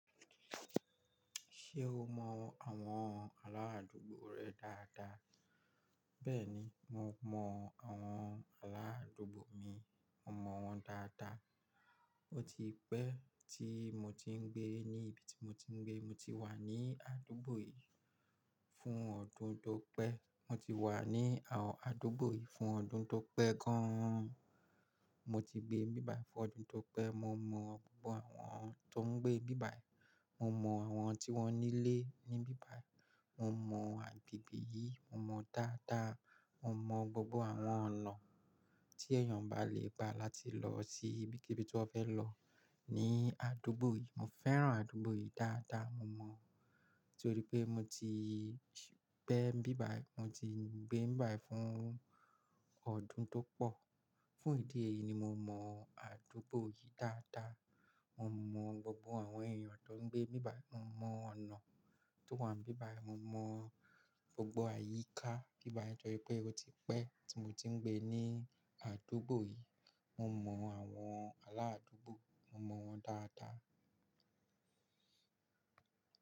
Ṣé o mọ àwọn aládùúgbò rẹ dáadáa? Bẹ́ẹ̀ni, mo mọ àwọn aládùúgbò mi, mo mọ wọ́n dáadáa. Ó ti pẹ́ tí mo ti ń gbé ní ibi tí mo ti ń gbé. Mo ti wà ní àdúgbò yìí fún ọdún tó pẹ́. Mo wà ní àwon adúgbò yìí fún ọdún tó pẹ́ gan-an. Mo ti gbé bíbà fún ọdún tó pẹ́. Mo mọ gbogbo àwọn tó ń gbé bíbà. Mo mọ àwọn tí wọ́n nílé ní ibi bayi. Mo mọ agbègbè yìí, mo mọ dáadáa. Mo mọ gbogbo àwọn ọ̀nà tí èèyàn bá lè gba láti lọ sí ibikíbi tí wọ́n fẹ́ lọ ní àdúgbò yìí. Mo fẹ́ràn àdúgbò yìí dáadáa, mo mọ̀, torí pé mo ti pẹ́ nibí bàyi, mo ti ń gbé nibí bàyi fún ọdún tó pọ̀. Fún ìdí èyí ni mo mọ àdúgbò yìí dáadáa. Mo mọ gbogbo àwọn èèyàn tó ń gbé bíbà. Mo mọ ọ̀nà tó wà ní bíbà. Mo mọ gbogbo àyíká bíbà yìí torí pé ó ti pẹ́ tí mo ti ń gbé ní àdúgbò yìí. Mo mọ àwọn aládùúgbò, mo mọ wọ́n dáadáa.